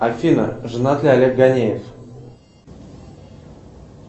афина женат ли олег ганеев